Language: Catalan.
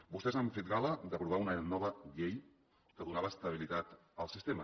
vostès han fet gala d’aprovar una nova llei que donava estabilitat al sistema